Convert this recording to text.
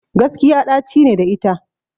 Gaskiya ɗaci ne da ita